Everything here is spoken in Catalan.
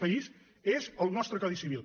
país és el nostre codi civil